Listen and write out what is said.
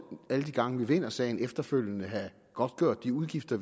alle de gange man vinder en sag efterfølgende have godtgjort de udgifter